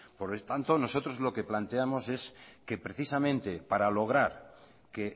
por lo tanto nosotros lo que planteamos es que precisamente para lograr que